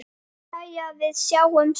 Ha- hann Bárður?